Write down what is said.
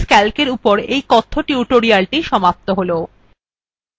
এখানেই libreoffice calcএর এই কথ্য tutorialthe সমাপ্ত হল